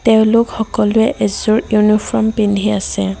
তেওঁলোক সকলোৱে এযোৰ ইউনিফ্ৰম পিন্ধি আছে।